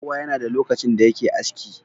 Kowa yana da lokacin da yake aski.